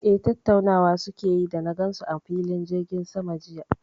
Eh, tattaunawa su ke yi da na gan su a filin jirgin sama jiya